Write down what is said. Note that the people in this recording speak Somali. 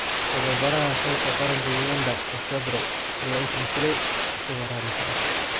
Tababaraha xulka qaranka Uganda Desabre ayaa iscasilay isagoo raali ka ah